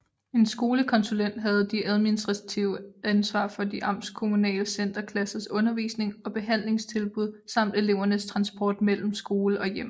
En skolekonsulent havde det administrative ansvar for de amtskommunale centerklassers undervisning og behandlingstilbud samt elevernes transport mellem skole og hjem